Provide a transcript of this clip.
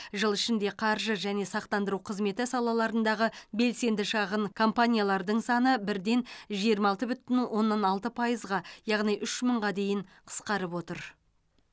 жыл ішінде қаржы және сақтандыру қызметі салаларындағы белсенді шағын компаниялардың саны бірден жиырма алты бүтін оннан алты пайызға яғни үш мыңға дейін қысқарып отыр